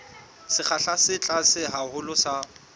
sekgahla se tlase haholo sa